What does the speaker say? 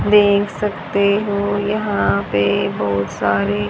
देख सकते हो यहां पे बहुत सारे--